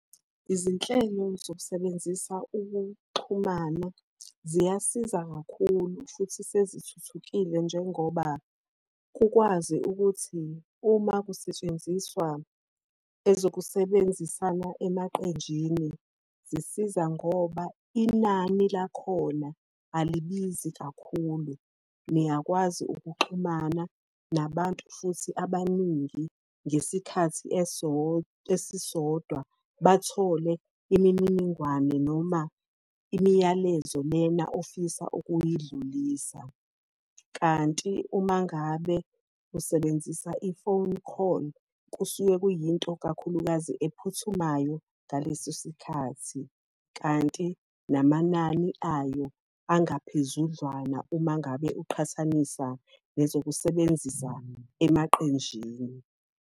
Izinhlelo zokusebenzisa ukuxhumana ziyasiza kakhulu futhi sezithuthukile njengoba kukwazi ukuthi uma kusetshenziswa ezokusebenzisana emaqenjini, zisiza ngoba inani lakhona alibizi kakhulu. niyakwazi ukuxhumana nabantu futhi abaningi, ngesikhathi esisodwa bathole imininingwane noma imiyalezo lena ofisa ukuyidlulisa. Kanti uma ngabe usebenzisa i-phone call, kusuke kuyinto kakhulukazi ephuthumayo ngaleso sikhathi. Kanti namanani ayo angaphezudlwana uma ngabe uqhathanisa nezokusebenzisa emaqenjini.